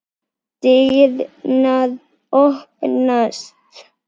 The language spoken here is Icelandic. Dyrnar opnast.